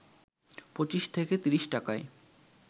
২৫ থেকে ৩০ টাকায়